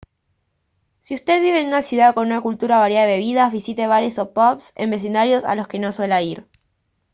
si usted vive en una ciudad con una cultura variada de bebidas visite bares o pubs en vecindarios a los que no suela ir